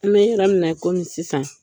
An bɛ yɔrɔ min na i komi sisan.